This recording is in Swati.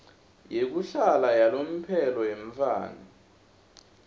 yekuhlala yalomphelo yemntfwana